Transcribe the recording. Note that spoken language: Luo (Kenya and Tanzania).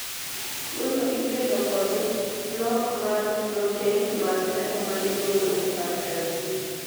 tuono ikelo kod nok mar prothein mag remo ma iluongo ni factor v